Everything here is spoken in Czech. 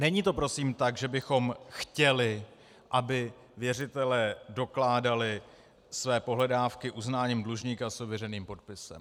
Není to prosím tak, že bychom chtěli, aby věřitelé dokládali své pohledávky uznáním dlužníka s ověřeným podpisem.